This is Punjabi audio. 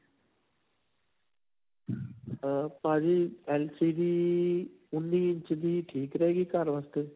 ਅਅ ਭਾਜੀ LCD ਉਨ੍ਨੀਂ ਇੰਚ ਦੀ ਠੀਕ ਰਹੇਗੀ ਘਰ ਵਾਸਤੇ?